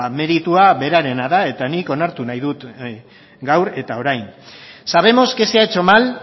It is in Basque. meritua berarena da eta nik onartu nahi dut gaur eta orain sabemos que se ha hecho mal